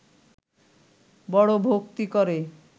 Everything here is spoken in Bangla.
বড় ভক্তি করে